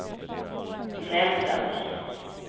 Nälden